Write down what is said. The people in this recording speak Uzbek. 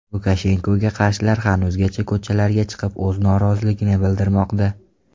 Lukashenkoga qarshilar hanuzgacha ko‘chalarga chiqib o‘z noroziligini bildirmoqda.